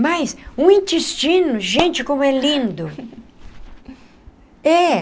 Mas o intestino, gente, como é lindo! É.